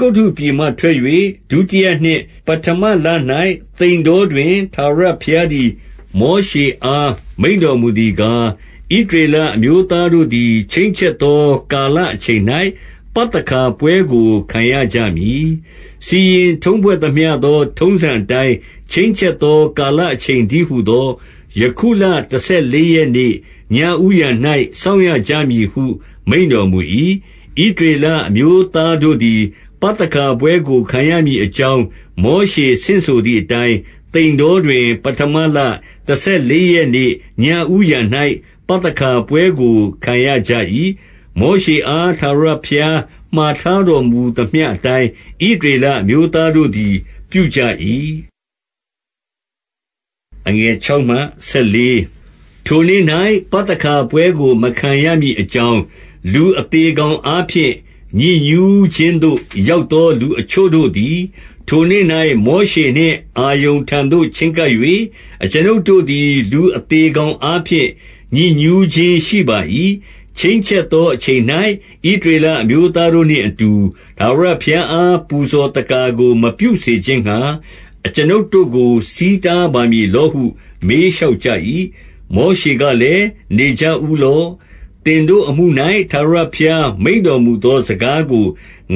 ဂုတ္တုပြည်မှ ထွက်၍ ဒုတိယနှစ်၊ ပဌမလ၌ သိန်တောတွင် ထာဝရဘုရားသည် မောရှေအားမိန့်တော် မူသည်ကား 2 ဣသရေလအမျိုးသားတို့သည်၊ ချိန်းချက်သော ကာလအချိန်၌ ပသခါပွဲကို ခံရကြမည်။ 3 စီရင်ထုံးဖွဲ့သမျှသော ထုံးစံအတိုင်း၊ ချိန်းချက် သော ကာလအချိန်တည်းဟူသော ယခုလ တဆယ်လေး ရက်နေ့ ညဦးယံ၌ စောင့်ရကြမည်ဟု မိန့်တော်မူ၏။ 4 ဣသရေလအမျိုးသားတို့သည် ပသခါပွဲကို ခံရမည်အကြောင်း၊ မောရှေဆင့်ဆိုသည်အတိုင်း၊ 5 သိန်တောတွင် ပဌမလ တဆယ်လေးရက်နေ့ ညဦးယံ၌ ပသခါပွဲကိုခံရကြ၏။ မောရှေအား ထာဝရ ဘုရားမှာ ထားတော်မူသမျှအတိုင်း၊ ဣသရေလအမျိုး သားတို့သည် ပြုကြ၏။ 6 ထိုနေ့၌ ပသခါပွဲကိုမခံရမည်အကြောင်း၊ လူအသေကောင်အားဖြင့် ညစ်ညူးခြင်းသို့ ရောက်သော လူအချို့တို့သည်၊ ထိုနေ့၌ မောရှေနှင့်အာရုန်ထံသို့ ချဉ်းကပ်၍၊ 7 အကျွန်ုပ်တို့သည် လူအသေကောင်အားဖြင့် ညစ်ညူးခြင်း ရှိပါ၏။ ချိန်းချက်သောအချိန်၌ ဣသရေလ အမျိုးသားတို့နှင့်အတူ၊ ထာဝရဘုရားအား ပူဇော်သက္ကာကို မပြုစေခြင်းငှါ၊ အကျွန်ုပ်တို့ကို ဆီးတား ပါမည်လောဟု မေးလျှောက်ကြ၏။ 8 မောရှေကလည်း၊ နေကြဦးလော့။ သင်တို့အမှု၌ ထာဝရဘုရားမိန့်တော်မူသော စကားကို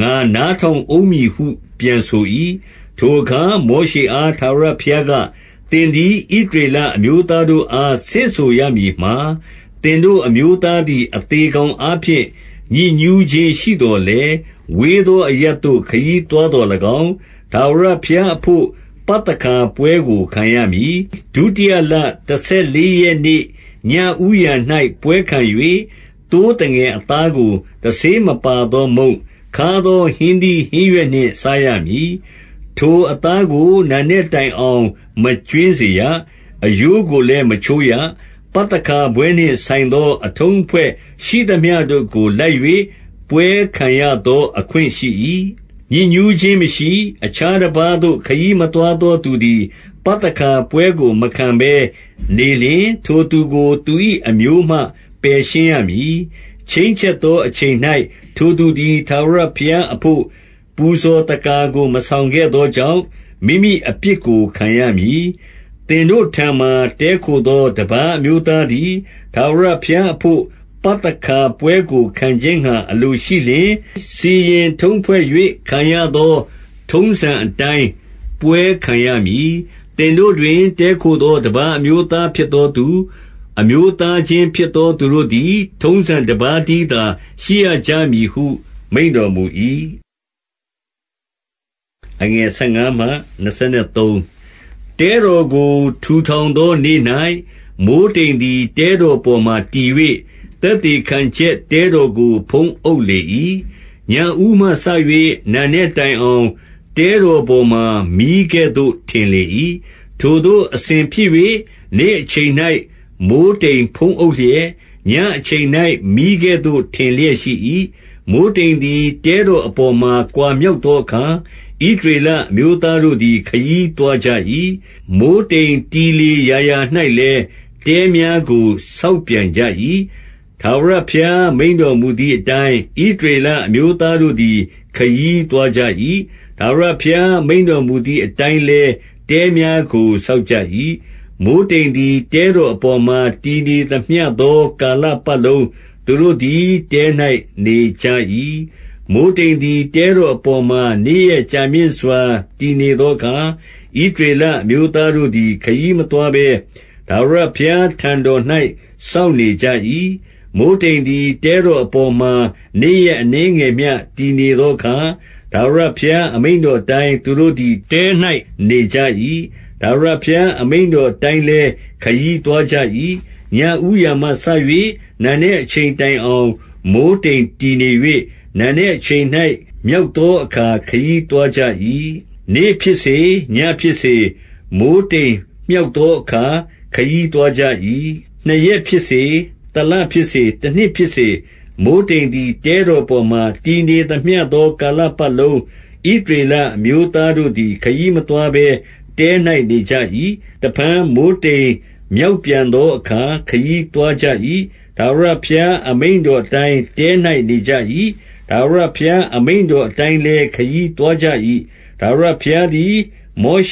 ငါနားထောင်ဦး မည်ဟု ပြန်ဆို၏။ 9 ထိုအခါ မောရှေအား ထာဝရဘုရားက၊ သင် သည် ဣသရေလအမျိုးသားတို့အား ဆင့်ဆိုရမည်မှာ၊ 10 သင်တို့ အမျိုးသားသည် အသေကောင်အားဖြင့် ညစ်ညူးခြင်းရှိသော်၎င်း၊ ဝေးသောအရပ်သို့ ခရီးသွား သော်၎င်း၊ ထာဝရဘုရားအဘို့ ပသခါပွဲကိုခံရမည်။ 11 ဒုတိယလတဆယ်လေးရက်နေ့ညဦးယံ၌ ပွဲခံ၍၊ သိုးသငယ်အသားကို တဆေးမပါသော မုန့်၊ ခါးသော ဟင်းသီးဟင်းရွက်နှင့် စားရမည်။ 12 ထိုအသားကို နံနက်တိုင်အောင် မကြွင်းစေရ။ အရိုးကိုလည်း မချိုးရ။ ပသခါပွဲနှင့် ဆိုင်သောအထုံးအဖွဲ့ ရှိသမျှတို့ကို လိုက်၍ ပွဲခံရသော အခွင့်ရှိ၏။ 13 ညစ်ညူးခြင်းမရှိ၊ အခြားတပါးသို့ ခရီးမသွား သော သူသည် ပသခါပွဲကို မခံပဲနေလျှင် ထိုသူကို သူ၏ အမျိုးမှပယ်ရှင်းရမည်။ ချိန်းချက်သော အချိန်၌ ထိုသူ သည် ထာဝရဘုရားအဘို့ ပူဇော်သက္ကာကို မဆောင်ခဲ့ သောကြောင့် မိမိအပြစ်ကို ခံရမည်။ 14 သင်တို့ထံမှာ တည်းခိုသော တပါးအမျိုးသား သည် ထာဝရဘုရားအဘို့ ပသခါပွဲကို ခံခြင်းငှါ အလိုရှိ လျှင်၊ စီရင်ထုံးဖွဲ့၍ ခံရသော ထုံးစံအတိုင်း ပွဲခံရမည်။ သင်တို့တွင် တည်းခိုသော တပါးအမျိုးသား၊ ဖြစ်သောသူ၊ အမျိုးသားချင်းဖြစ်သောသူတို့သည် ထုံးစံတပါးတည်း သော ရှိရကြမည်ဟုမိန့်တော်မူ၏။ 15 တဲတော်ကို ထူထောင်သောနေ့၌၊ မိုဃ်းတိမ်သည် တဲတောင်ပေါ်မှာ တည်၍၊ သက်သေခံချက် တဲတော်ကို ဖုံးအုပ်လေ၏။ ညဦးမှစ၍ နံနက်တိုင်အောင် တဲတော်ပေါ်မှာ မီးကဲ့သို့ ထင်လေ၏။ 16 ထိုသို့အစဉ်ဖြစ်၍ နေ့အချိန်၌မိုဃ်းတိမ်ဖုံးအုပ်လျက်၊ ညအချိန်၌မီးကဲ့သို့ ထင်လျက်ရှိ၏။ 17 မိုဃ်းတိမ်သည် တဲတော်အပေါ်မှ ကွာမြောက်သောအခါ၊ ဣသရေလအမျိုးသားတို့သည် ခရီးသွားကြ၏။ မိုဃ်းတိမ်တည်လေရာရာ၌လည်း၊ တဲများကို ဆောက်ပြန်ကြ၏။ 18 ထာဝရဘုရား မိန့်တော်မူသည်အတိုင်း၊ ဣသရေလအမျိုးသားတို့သည် ခရီးသွားကြ၏။ ထာဝရဘုရား မိန့်တော်မူသည် အတိုင်းလည်း တဲများကို ဆောက်ကြ၏။ မိုဃ်း တိမ်သည် တဲတော်အပေါ်မှာ တည်နေသမျှသော ကာလ ပတ်လုံး သူတို့သည် တဲ၌နေကြ၏။ 19 မိုဃ်းတိမ်သည် တဲတော်အပေါ်မှာ နေ့ရက် ကြာမြင့်စွာတည်နေသောအခါ၊ ဣသရေလ အမျိုးသားတို့ သည် ခရီးမသွားဘဲ ထာဝရဘုရားထံတော်၌ စောင့်နေ ကြ၏။ 20 မိုဃ်းတိမ်သည် တဲတော်အပေါ်မှာ နေ့ရက် အနည်းငယ်မျှ တည်နေသောအခါ၊ ထာဝရဘုရား အမိန့် တော်အတိုင်း၊ သူတို့သည် တဲ၌ နေကြ၏။ ထာဝရဘုရား အမိန့်တော်အတိုင်းလည်း၊ ခရီးသွားကြ၏။ 21 ညဦးယံမှစ၍ နံနက်အချိန်တိုင်အောင် မိုဃ်း တိမ်တည်နေ၍ နံနက်အချိန်၌ မြောက်သောအခါ ခရီး သွားကြ၏။ နေ့ဖြစ်စေ၊ ညဖြစ်စေ၊ မိုဃ်းတိမ်မြောက် သောအခါ ခရီးသွားကြ၏။ 22 နှစ်ရက်ဖြစ်စေ၊ တလဖြစ်စေ၊ တနှစ်ဖြစ်စေ၊ မိုဃ်းတိမ်သည် တဲတော်ပေါ်မှာ တည်နေသမျှသော ကာလပတ်လုံး ဣသရေလအမျိုးသားတို့သည် ခရီး မသွားဘဲ တဲ၌နေကြ၏။ တဖန်မိုဃ်းတိမ်မြောက်ပြန် သောအခါ ခရီးသွားကြ၏။ 23 ထာဝရဘုရားအမိန့်တော်အတိုင်း တဲ၌ နေကြ ၏။ ထာဝရဘုရား အမိန့်တော်အတိုင်းတဲ၌ နေကြ၏။ ထာဝရဘုရားအမိန့်တော်အတိုင်းလည်း ခရီးသွားကြ၏။ ထာဝရဘုရားသည် မောရ